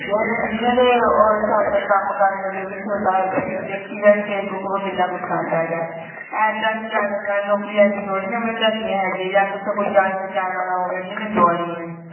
ਜਿਹਨਾਂ ਦੇ ਉਹ ਕੰਮ ਕਰਨ ਵਿੱਚ ਹੁੰਦਾ ਤੂੰ ਦੇਖੀ ਜਾਈ facebook ਪਰ ਕਿੰਨਾ ਕੁਛ ਆਂਦਾ ਹੈਗਾ ਐਦਾ ਨੀ ਜਾਣਾ ਨਾਲੇ ਨੋਕਰੀ ਐਦਾ ਥੋੜੀ ਨਾ ਮਿਲ ਜਾਂਦੀ ਜਾ ਤਾ ਉਥੇ ਕੋਈ ਜਾਣ ਪਹਿਚਾਣ ਵਾਲਾ ਹੋਵੇ ਜਿਹਨੇ ਲਮਾਣੀਏ